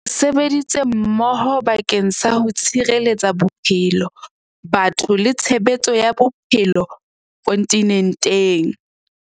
Re sebeditse mmoho bake ng sa ho tshireletsa bophelo, batho le tshehetso ya bophe lo kontinenteng.